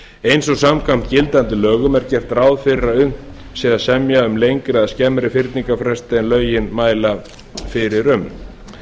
eins og samkvæmt gildandi lögum er gert ráð fyrir að unnt sé að semja um lengri eða skemmri fyrningarfresti en lögin mæla fyrir um